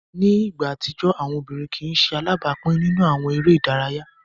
Ni igba atijọ, awọn obirin kii ṣe alabapin ninu awọn ere idaraya.